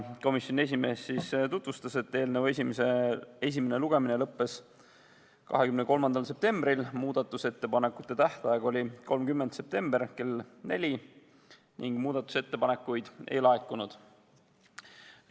Komisjoni esimees selgitas, et eelnõu esimene lugemine lõppes 23. septembril, muudatusettepanekute esitamise tähtaeg oli 30. septembril kell 16 ning muudatusettepanekuid ei laekunud.